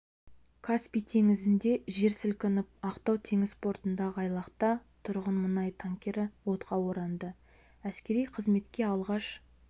каспий теңізінде жер сілкініп ақтау теңіз портындағы айлақта тұрған мұнай танкері отқа оранды әскери қызметке алғаш